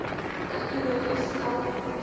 tegnologie stel fondse